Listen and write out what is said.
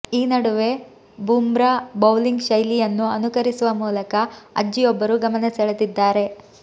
ಈ ನಡುವೆ ಬುಮ್ರಾ ಬೌಲಿಂಗ್ ಶೈಲಿಯನ್ನು ಅನುಕರಿಸುವ ಮೂಲಕ ಅಜ್ಜಿಯೊಬ್ಬರು ಗಮನ ಸೆಳೆದಿದ್ದಾರೆ